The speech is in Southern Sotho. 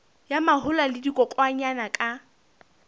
ya mahola le dikokwanyana ka